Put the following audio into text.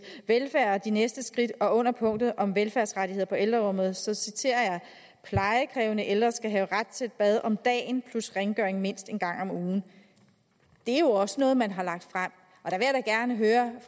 velfærd de næste skridt og under punktet om velfærdsrettigheder på ældreområdet citerer jeg plejekrævende ældre skal have ret til et bad om dagen plus rengøring mindst en gang om ugen det er jo også noget man har lagt frem